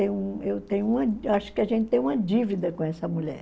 Eu tenho uma acho que a gente tem uma dívida com essa mulher.